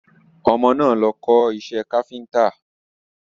Ọmọ náà lọ kọ́ iṣẹ́ káfíntà.